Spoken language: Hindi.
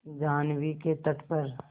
जाह्नवी के तट पर